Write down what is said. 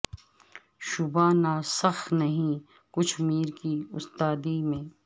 شبہ نا سخ نہیں کچھ میر کی استادی میں